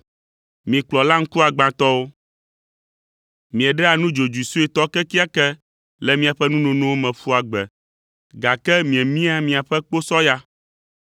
Mi kplɔla ŋkuagbãtɔwo! Mieɖea nudzodzoe suetɔ kekeake le miaƒe nunonowo me ƒua gbe, gake miemia miaƒe kposɔ ya.